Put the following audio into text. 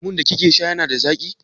Lemun da kike sha yana da zaƙi?